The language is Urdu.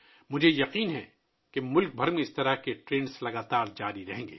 مجھے یقین ہے کہ اس طرح کے رجحانات پورے ملک میں جاری رہیں گے